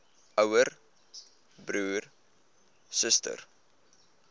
ouer broer suster